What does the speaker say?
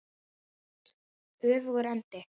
Öfugur endi.